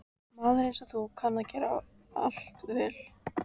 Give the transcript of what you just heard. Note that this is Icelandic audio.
Maður einsog þú kann að gera allt vel.